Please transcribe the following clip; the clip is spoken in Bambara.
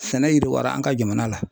Sɛnɛ yiriwara an ka jamana la.